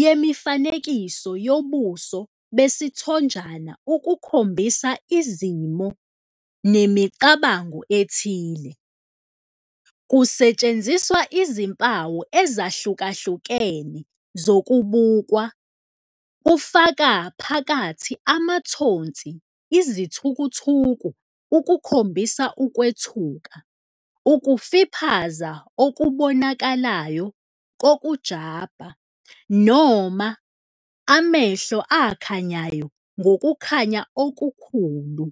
yemifanekiso yobuso besithonjana ukukhombisa izimo nemicabango ethile. Kusetshenziswa izimpawu ezahlukahlukene zokubukwa, kufaka phakathi amathonsi izithukuthuku ukukhombisa ukwethuka, ukufiphaza okubonakalayo kokujabha, noma amehlo akhanyayo ngokukhanya okukhulu.